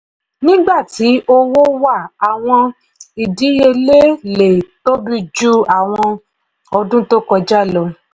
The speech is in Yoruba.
nígbà tí owó wà àwọn ìdíyelé lè tóbi jù àwọn ọdún tó kọjá lọ.